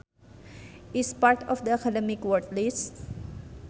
is part of the Academic Word List